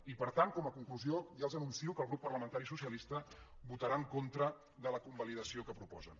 i per tant com a conclusió ja els anuncio que el grup parlamentari socialista votarà en contra de la convalidació que proposen